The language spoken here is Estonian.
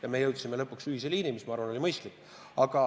Ja me jõudsime lõpuks ühise liinini, mis, ma arvan, oli mõistlik.